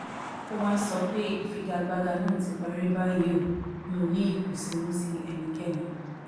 ó wáá sọ pé ìfigagbága náà ti parí báyìí ó mì ọ́ ní ìkùnsínú sí ẹnikẹ́ni